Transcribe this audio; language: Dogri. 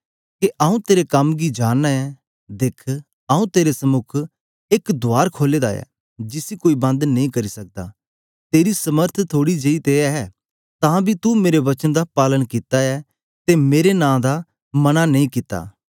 आऊँ तेरे कम गी जानना ऐ दिख आऊँ तेरे समुक एक द्वार खोले दा ऐ जिसी कोई बंद नेई करी सकदा तेरी समर्थ थोड़ी जेई ते ऐ तां बी तू मेरे वचन दा पालन कित्ता ऐ ते मेरे नां दा मना नेई कित्ता